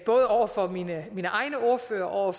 over for mine egne ordførere og